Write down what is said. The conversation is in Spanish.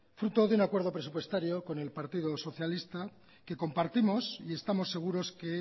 fruto de un acuerdo presupuestario con el partido socialista que compartimos y estamos seguros que